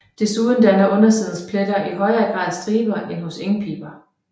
Desuden danner undersidens pletter i højere grad striber end hos engpiber